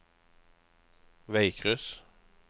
veikryss